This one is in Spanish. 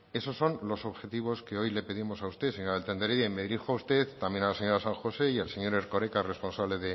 esos son los objetivos que hoy le pedimos a usted señora beltran de heredia y me dirijo a usted también a las señora san josé y al señor erkoreka responsable